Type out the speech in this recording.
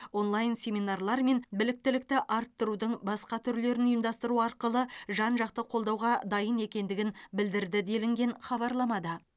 онлайн семинарлар мен біліктілікті арттырудың басқа түрлерін ұйымдастыру арқылы жан жақты қолдауға дайын екендігін білдірді делінген хабарламада